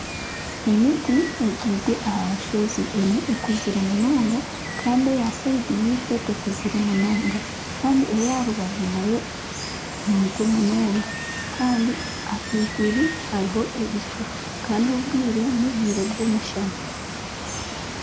Emiti ebyirwe aha nshozi emwe ekuzire munonga Kandi eya aha rubaju rwife tekuzire munonga kandi eyaha rubaju nayo nimito munonga ahaiguru hariyo ebicu obwire n'obwire bw'omushana